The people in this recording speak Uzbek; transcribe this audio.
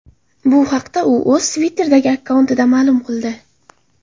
Bu haqda u o‘zining Twitter’dagi akkauntida ma’lum qildi .